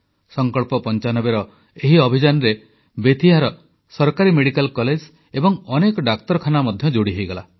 ସଂକଳ୍ପ95ର ଏହି ଅଭିଯାନରେ ବେତିଆର ସରକାରୀ ମେଡିକାଲ କଲେଜ ଏବଂ ଅନେକ ଡାକ୍ତରଖାନା ମଧ୍ୟ ଯୋଡ଼ି ହେଲା